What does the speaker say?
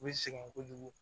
U bɛ sɛgɛn kojugu